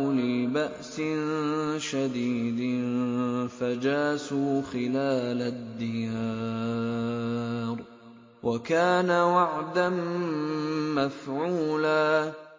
أُولِي بَأْسٍ شَدِيدٍ فَجَاسُوا خِلَالَ الدِّيَارِ ۚ وَكَانَ وَعْدًا مَّفْعُولًا